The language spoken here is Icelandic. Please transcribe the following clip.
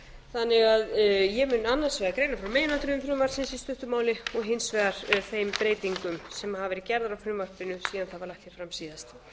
þannig að ég mun annars vegar greina frá meginatriðum frumvarpsins í stuttu máli og hins vegar þeim breytingum sem hafa verið gerðar á frumvarpinu síðan það var lagt hér fram síðast